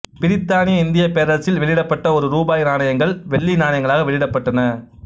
பிரித்தானிய இந்தியப் பேரரசில் வெளியிடப்பட்ட ஒரு ரூபாய் நாணயங்கள் வெள்ளி நாணயங்களாக வெளியிடப்பட்டன